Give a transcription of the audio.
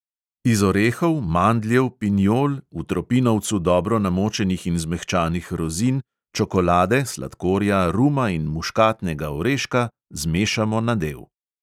Iz orehov, mandljev, pinjol, v tropinovcu dobro namočenih in zmehčanih rozin, čokolade, sladkorja, ruma in muškatnega oreška zmešamo nadev.